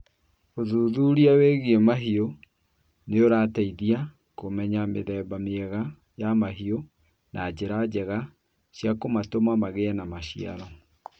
Ũthuthuria wĩgiĩ mahiũ nĩ ũrateithagia kũmenya mĩthemba mĩega ya mahiũ na njĩra njega cia kũmatũma magĩe na maciaro.